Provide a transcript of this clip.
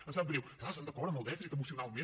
em sap greu clar estan d’acord amb el dèficit emocionalment